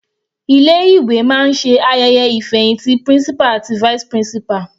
Ilé ìwé máa ṣe ayẹyẹ ìfẹhìntì principal àti vice principal.